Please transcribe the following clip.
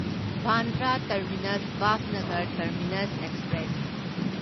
Bandra terminus Bhavnagar terminus express